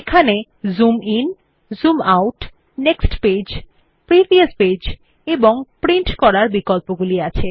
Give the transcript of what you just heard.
এখানে zoom in zoom out next page previous page এবং print করার বিকল্পগুলি আছে